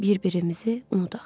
Bir-birimizi unudaq.